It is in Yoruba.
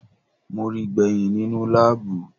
Mo ríi gbẹ̀hìn nínú láàbù.